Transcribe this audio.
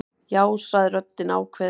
Já, sagði röddin ákveðin.